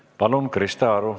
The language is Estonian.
Palun, Krista Aru!